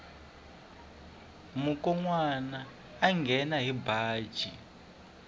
mukonwana a nghena hi baji